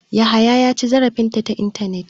Yahaya ya ci zarafin ta ta intanet ne.